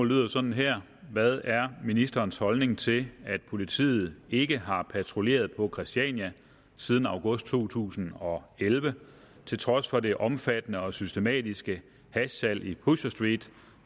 lyder sådan her hvad er ministerens holdning til at politiet ikke har patruljeret på christiania siden august to tusind og elleve til trods for det omfattende og systematiske hashsalg i pusher street